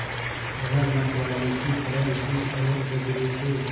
वह मतवाले की तरह उठी ओर गगरे से